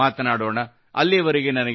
ಅಲ್ಲಿಯವರೆಗೆ ನನಗೆ ಅನುಮತಿ ನೀಡಿ